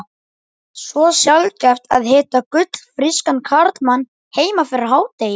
Svo sjaldgæft að hitta fullfrískan karlmann heima fyrir hádegi.